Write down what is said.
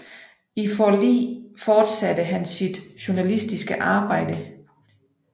I Forli fortsatte han sit journalistiske arbejde